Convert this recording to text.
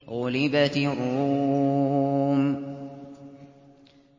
غُلِبَتِ الرُّومُ